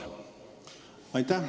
Aitäh!